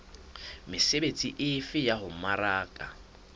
mesebetsi efe ya ho mmaraka